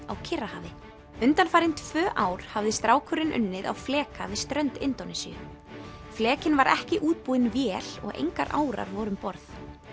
á Kyrrahafi undanfarin tvö ár hafði strákurinn unnið á fleka við strönd Indónesíu flekinn var ekki útbúinn vél og engar árar voru um borð